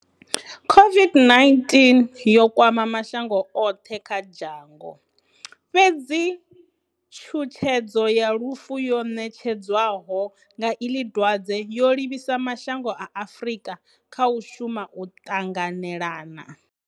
COVID-19 yo kwama mashango oṱhe kha dzhango. Fhedzi tshutshedzo ya lufu yo ṋetshedzwaho nga iḽi dwadze yo livhisa mashango a Afrika kha u shuma o ṱanganelana.